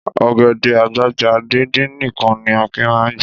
Ọ̀gẹ̀dẹ̀ àgbàgbà díndín nìkan ni Akin máa ń jẹ.